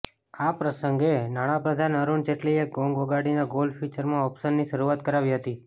આ પ્રસંગે નાણાપ્રધાન અરૂણ જેટલીએ ગોંગ વગાડીને ગોલ્ડ ફયુચરમાં ઓપ્શનની શરૂઆત કરાવી હતી